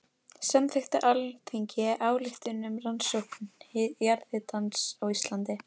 Samþykkt á Alþingi ályktun um rannsókn jarðhitans á Íslandi.